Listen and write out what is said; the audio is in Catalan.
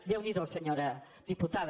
déu n’hi do senyora diputada